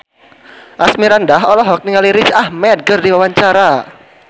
Asmirandah olohok ningali Riz Ahmed keur diwawancara